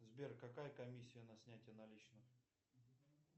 сбер какая комиссия на снятие наличных